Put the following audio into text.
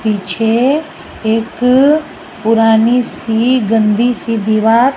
पीछे एक पुरानी सी गंदी सी दीवार--